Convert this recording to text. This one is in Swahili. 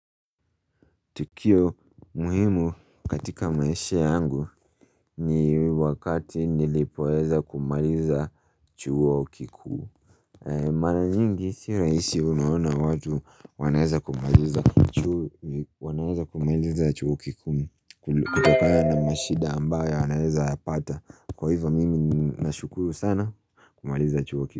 Tukio muhimu katika maisha yangu ni wakati nilipoweza kumaliza chuo kikuu Mara nyingi sio rahisi, kuona watu wanaweza kumaliza chuo kikuu kutokana na shida ambayo anaweza kuzipata, kwa hivyo mimi ninashukuru sana kumaliza chuo kikuu.